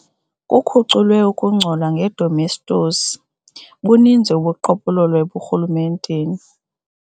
Kukhuculwe ukungcola ngedomestos. buninzi ubuqhophololo eburhulumenteni